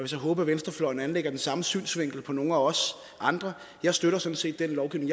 så håbe at venstrefløjen anlægger den samme synsvinkel gælder nogle af os andre jeg støtter sådan set den lovgivning